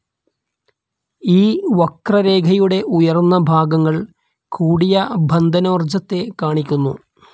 ഈ വക്രരേഖയുടെ ഉയർന്ന ഭാഗങ്ങൾ കൂടിയ ബന്ധനോർജ്ജത്തെ കാണിക്കുന്നു.